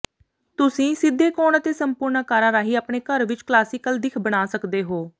ਤੁਸੀਂ ਸਿੱਧੇ ਕੋਣ ਅਤੇ ਸੰਪੂਰਨ ਆਕਾਰਾਂ ਰਾਹੀਂ ਆਪਣੇ ਘਰ ਵਿੱਚ ਕਲਾਸੀਕਲ ਦਿੱਖ ਬਣਾ ਸਕਦੇ ਹੋ